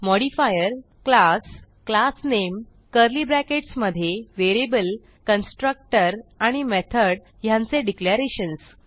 modifier - class classname curly brackets मधे variable constructor आणि method ह्यांचे डिक्लेरेशन्स